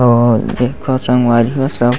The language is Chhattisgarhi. हो देखो संगवारी हो सब --